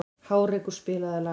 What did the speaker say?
Hárekur, spilaðu lag.